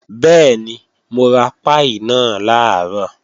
Bẹ́ẹ̀ni, mo ra páì náà làárọ̀